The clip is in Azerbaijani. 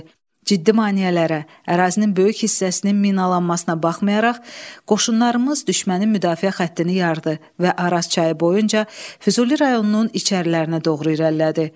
Ciddi maneələrə, ərazinin böyük hissəsinin minalanmasına baxmayaraq, qoşunlarımız düşmənin müdafiə xəttini yardı və Araz çayı boyunca Füzuli rayonunun içərilərinə doğru irəlilədi.